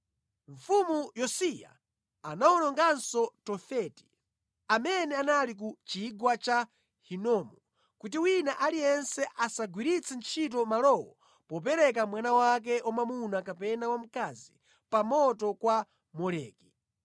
Mfumu Yosiya anawononganso Tofeti, amene anali ku Chigwa cha Hinomu, kuti wina aliyense asagwiritse ntchito malowo popereka mwana wake wamwamuna kapena wamkazi pa moto kwa Moleki.